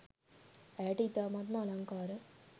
ඇයට ඉතාමත්ම අලංකාර